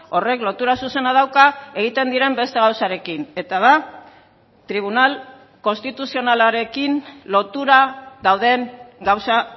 horrek lotura zuzena dauka egiten diren beste gauzarekin eta da tribunal konstituzionalarekin lotura dauden gauza